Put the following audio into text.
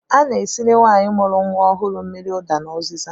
A na-esiri nwaanyị mụrụ nnwa ọhụụ mmiri ụda na ụzịza